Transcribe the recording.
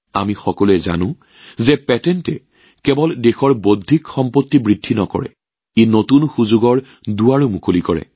আমি সকলোৱে জানো যে পেটেণ্টে কেৱল দেশৰ বৌদ্ধিক সম্পত্তি বৃদ্ধি কৰাই নহয় তেওঁলোকে নতুন সুযোগৰ দুৱাৰো মুকলি কৰে